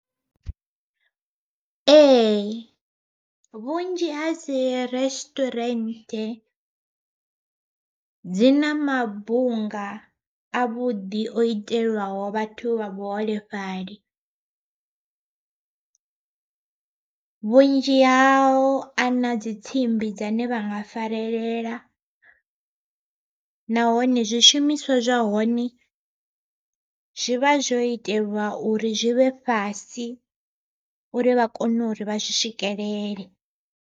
Ee vhunzhi ha dzi resituwarenthe dzi na mabunga a vhuḓi o itelwaho vhathu vha vhuholefhali, vhunzhi hao a na dzi tsimbi dzine vha nga farelela. Nahone zwishumiswa zwa hone zwi vha zwo itelwa uri zwi vhe fhasi uri vha kone uri vha zwi swikelele.